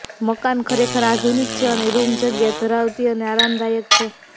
મકાન ખરેખર આધુનિક છે અને રૂમ જગ્યા ધરાવતી અને આરામદાયક છે